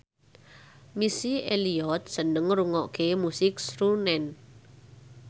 Missy Elliott seneng ngrungokne musik srunen